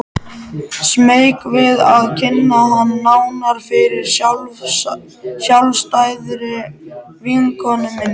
Smeyk við að kynna hann nánar fyrir sjálfstæðri vinkonu minni.